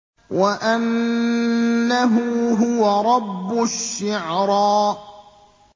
وَأَنَّهُ هُوَ رَبُّ الشِّعْرَىٰ